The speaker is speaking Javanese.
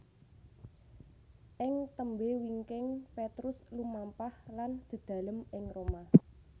Ing tembé wingking Petrus lumampah lan dedalem ing Roma